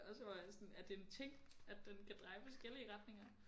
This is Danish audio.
Og så var jeg sådan er det er ting at den kan dreje forskellige retninger